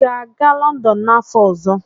Ị ga-aga Lọndọn n'afọ ọzọ?